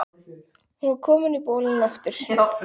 Hún var komin í bolinn aftur.